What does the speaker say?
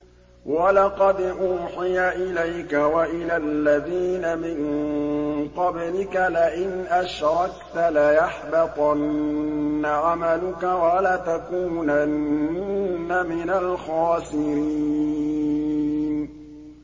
وَلَقَدْ أُوحِيَ إِلَيْكَ وَإِلَى الَّذِينَ مِن قَبْلِكَ لَئِنْ أَشْرَكْتَ لَيَحْبَطَنَّ عَمَلُكَ وَلَتَكُونَنَّ مِنَ الْخَاسِرِينَ